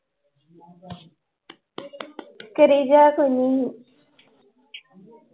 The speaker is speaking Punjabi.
ਕਰੀ ਜਾ ਸੋਨੂ ਨੂੰ l